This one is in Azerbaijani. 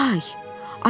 Oktay!